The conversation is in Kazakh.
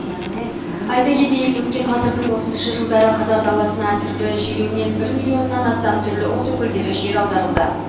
айта кетейік өткен ғасырдың отызыншы жылдары қазақ даласына түрлі желеумен бір миллионнан астам түрлі ұлт өкілдері жер аударылды